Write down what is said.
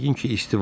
Yəqin ki, isti.